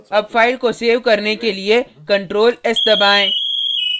अब फाइल को सेव करने के लिए ctrl+s दबाएँ